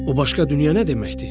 O başqa dünya nə deməkdir?